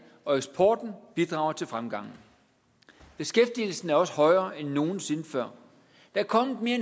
og eksporten bidrager til fremgangen beskæftigelsen er også højere end nogen sinde før der er kommet mere